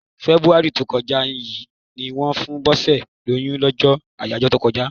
Fẹ́búárì tó kọjá yí ni wón fún Bose lóyún, lọ́jọ́ àyájọ́ olólùfẹ́.